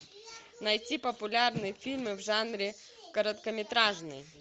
найти популярные фильмы в жанре короткометражный